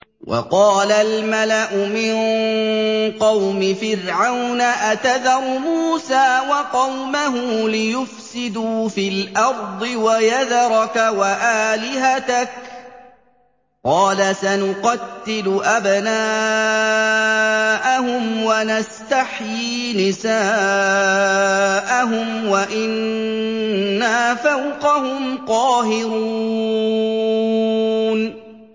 وَقَالَ الْمَلَأُ مِن قَوْمِ فِرْعَوْنَ أَتَذَرُ مُوسَىٰ وَقَوْمَهُ لِيُفْسِدُوا فِي الْأَرْضِ وَيَذَرَكَ وَآلِهَتَكَ ۚ قَالَ سَنُقَتِّلُ أَبْنَاءَهُمْ وَنَسْتَحْيِي نِسَاءَهُمْ وَإِنَّا فَوْقَهُمْ قَاهِرُونَ